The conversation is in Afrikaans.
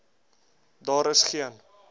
daar is geen